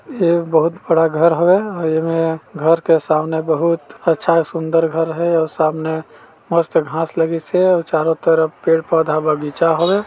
ये बहुत बड़ा घर हवे और ए म घर के सामने बहुत अच्छा सुन्दर घर हे और सामने मस्त घास लगीस है और चारों तरफ पेड़-पौधा बगीचा हवे।